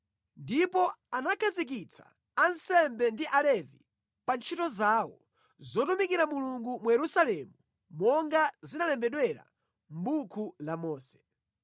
Ndipo anakhazikitsa ansembe ndi Alevi pa ntchito zawo zotumikira Mulungu mu Yerusalemu monga zinalembedwera mʼbuku la Mose.